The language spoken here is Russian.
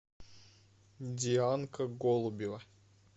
дианка голубева